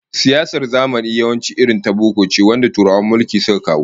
Siyasar zamani yawanci irin ta boko ce wanda Turawan mulki suka kawo